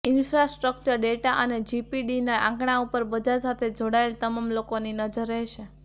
infrastructure data અને જીડીપીના આંકડા ઉપર બજાર સાથે જોડાયેલા તમામ લોકોની નજર રહેશે